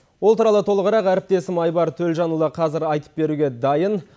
ол туралы толығырақ әріптесім айбар төлжанұлы қазір айтып беруге дайын